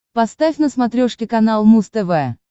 поставь на смотрешке канал муз тв